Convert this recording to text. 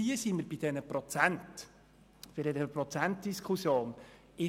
Hier sind wir bei einer Prozentdiskussion angelangt.